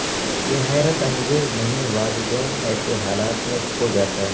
یہ حیرت انگیز نہیں والدین ایسے حالات میں کھو جاتا ہے